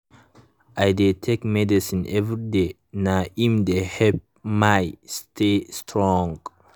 i dey take medicine everyday nah im dey help my stay strong.